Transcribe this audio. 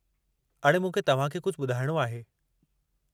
अड़े, मूंखे तव्हां खे कुझु ॿुधाइणो आहे।